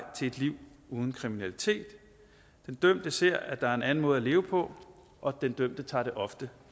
til et liv uden kriminalitet den dømte ser at der er en anden måde at leve på og den dømte tager det ofte